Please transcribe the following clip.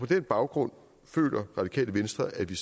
den baggrund føler det radikale venstre at vi